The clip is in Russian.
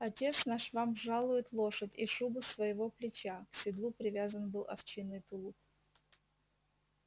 отец наш вам жалует лошадь и шубу со своего плеча к седлу привязан был овчинный тулуп